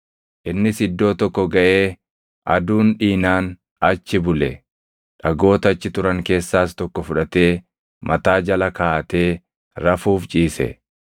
Innis iddoo tokko gaʼee aduun dhiinaan achi bule; dhagoota achi turan keessaas tokko fudhatee mataa jala kaaʼatee rafuuf ciise.